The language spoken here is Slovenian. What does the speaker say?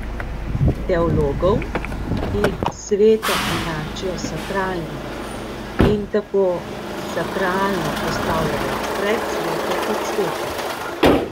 Teologov, ki sveto enačijo s sakralnim in tako sakralno postavljajo pred sveto kot sveto.